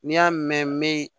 N'i y'a mɛn me